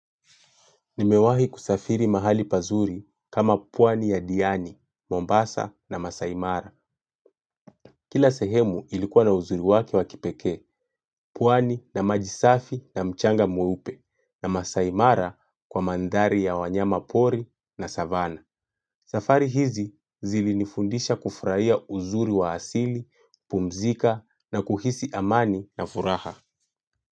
Nimewahi kusafiri mahali pazuri kama pwani ya Diani, Mombasa na Masaimara. Kila sehemu ilikuwa na uzuri wake wa kipekee, pwani na maji safi na mchanga mweupe na Masaimara kwa mandhari ya wanyamapori na Savannah. Safari hizi zilinifundisha kufurahia uzuri wa asili, kupumzika na kuhisi amani na furaha.